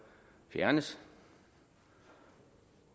fjernes